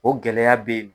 O gɛlɛya bɛ yen nɔ